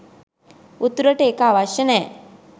උතුරට ඒක අවශ්‍ය නෑ